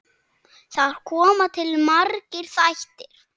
Þar koma til margir þættir.